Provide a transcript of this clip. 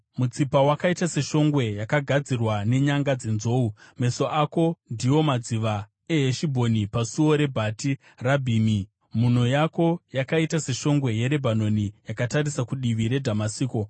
Mutsipa wakaita seshongwe yakagadzirwa nenyanga dzenzou. Meso ako ndiwo madziva eHeshibhoni pasuo reBhati Rabhimi. Mhuno yako yakaita seshongwe yeRebhanoni yakatarisa kudivi reDhamasiko.